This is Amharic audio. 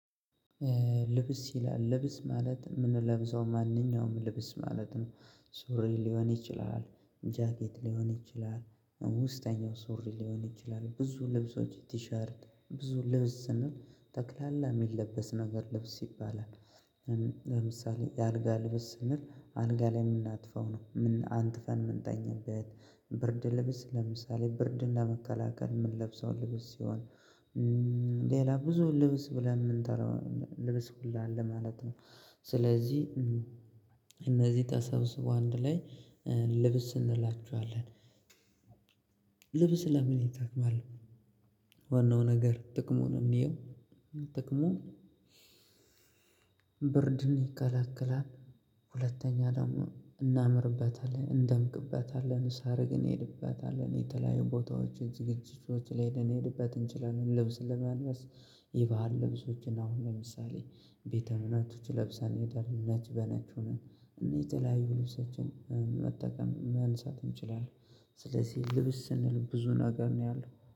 ልብስ ይላል ልብስ ማለት የምንለብሰው ማንኛውም ልብስ ማለት ነው። ሱሪ ሊሆን ይችላል። ጃኬት ሊሆን ይችላል። ውስጠኛው ሱሪ ሊሆን ይችላል ብዙ ልብሶች ቲሸርት ብዙ ልብስ ስንል ተክላላ የሚለበስ ነገር ልብስ ይባላል። ለምሳሌ የአልጋ ልብስ ስንል አልጋ ላይ የምናጥፈው ነው አንጥፈን ምንተኛበት ብርድ ልብስ ለምሳሌ ብርድን መከላከል የምንለብሰው ልብስ ሲሆን። ሌላ ብዙ ልብስ ብለን የምንጠራው ልብስ ሁሉ አለ ማለት ነው። ስለዚህ እነዚህ ታሰብ ሰው አንድ ላይ ልብስ እንላቸዋለን። ልብስ ለምን ይታክማል? ወንዶ ነገር ጥቅሙን እንየው። ጥቅሙ ብርድን ይከለክላል። ሁለተኛ ደግሞ እናምርበታለን እንደምቅበታለን ሳርግ እንሄድበታለን የተለያዩ ቦታዎችን ዝግጅቶችን ላይ እንድንሄድበት እንችላለን። ልብስ ለመነሳት ይባህን ልብሶችን አሁን ለምሳሌ ቤተ እምነቶች ለብሰን ነች በነች ሆነን እንዴት የለያዩ ልብሰችን መጠቀም ማንሳት እንችላለን። ስለዚህ ልብስ ስንል ብዙ ነገር ነው ያለው።